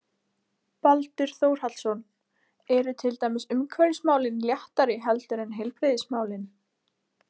Baldur Þórhallsson: Eru til dæmis umhverfismálin léttari heldur en heilbrigðismálin?